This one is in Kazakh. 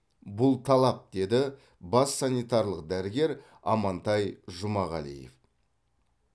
бұл талап деді бас санитарлық дәрігер амантай жұмағалиев